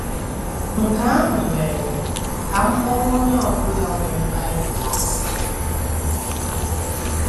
Nke ahụ mere ka m kpọọ onye ọ bụla nwere Bible asị.